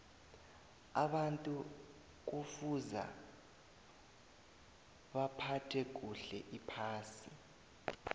abantu kufuza baphathe kuhle iphasi